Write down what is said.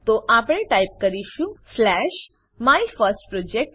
તો આપણે ટાઈપ કરીશું સ્લેશ માયફર્સ્ટપ્રોજેક્ટ